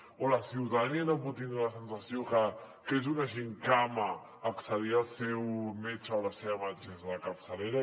o la ciutadania no pot tindre la sensació que és una gimcana accedir al seu metge o la seva metgessa de capçalera